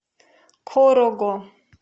корого